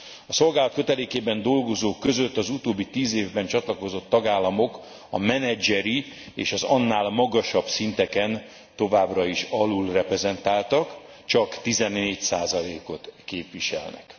A szolgálat kötelékében dolgozók között az utóbbi tíz évben csatlakozott tagállamok a menedzseri és az annál magasabb szinteken továbbra is alulreprezentáltak csak 14 ot képviselnek.